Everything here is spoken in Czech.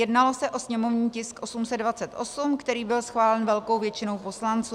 Jednalo se o sněmovní tisk 828, který byl schválen velkou většinou poslanců.